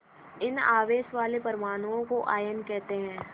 इन आवेश वाले परमाणुओं को आयन कहते हैं